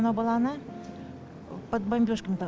мынау баланы под бомбежками